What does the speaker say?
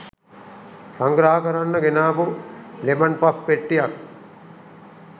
සංග්‍රහ කරන්න ගෙනාපු ලෙමන් පෆ් පෙට්ටියක්